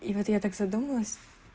и вот я так задумалась